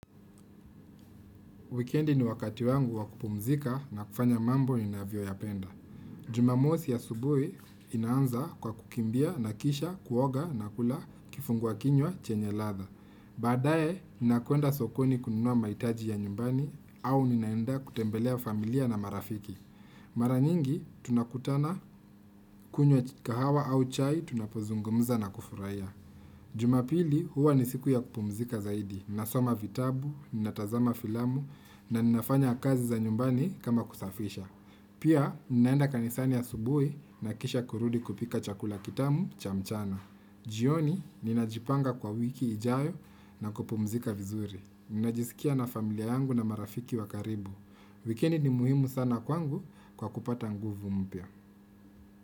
Weekendi ni wakati wangu wakupumzika na kufanya mambo ninavyo yapenda. Jumamosi ya asubuhi inaanza kwa kukimbia na kisha, kuoga na kula, kifungwa kinywa, chenye latha. Baadae, ninakwenda sokoni kununua maitaji ya nyumbani au ninaenda kutembelea familia na marafiki. Mara nyingi, tunakutana kunywa kahawa au chai tunapozungumza na kufurahia. Jumapili huwa nisiku ya kupumzika zaidi, nasoma vitabu, natazama filamu na ninafanya kazi za nyumbani kama kusafisha. Pia, ninaenda kanisani ya asubuhi nakisha kurudi kupika chakula kitamu cha mchana. Jioni, ninajipanga kwa wiki ijayo na kupumzika vizuri. Ninajisikia na familia yangu na marafiki wakaribu. Wikendi ni muhimu sana kwangu kwa kupata nguvu mpya.